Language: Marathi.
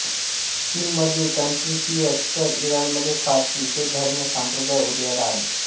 चीनमध्ये कन्फ्यूशियस तर इराणमध्ये पारशी हे धर्म संप्रदाय उदयाला आले